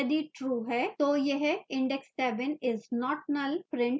यदि true है तो यह index 7 is not null print करेगा